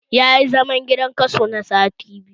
Tayi zaman gidan kaso na sati biyu